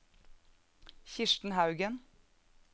Kirsten Haugen